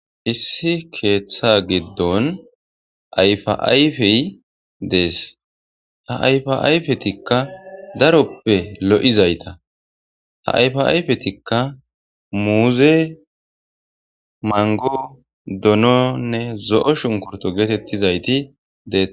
issi keeththa giddon ayfaayfey dees ha ayfaayfetikka daroppe lo7izayta ha ayfa ayfetikka muuze mango dononne zo7o shunkurto geetettizayti dees